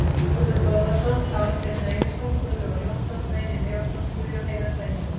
Þórður Þórðarson, Kári Steinn Reynisson, Gunnlaugur Jónsson, Reynir Leósson, Guðjón Heiðar Sveinsson